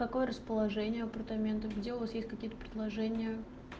какое расположение апартаментов где у вас есть какие-то предложения